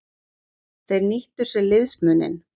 Þeir nýttu sér liðsmuninn.